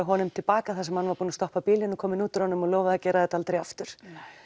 honum til baka þar sem hann var búinn að stoppa bílinn og kominn út úr honum og lofaði að gera þetta aldrei aftur